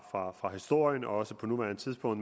fra fra historien og også på nuværende tidspunkt